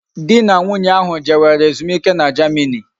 Di na nwunye ahu jewere ezumike na Germany